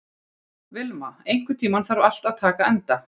Vilma, einhvern tímann þarf allt að taka enda.